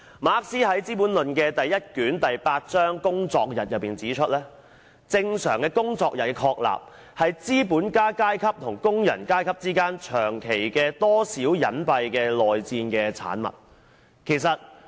馬克思在《資本論》第一卷第八章：工作日中指出，正常工作日的確立是資本家階級與工人階級之間長期的多少隱蔽的內戰的產物。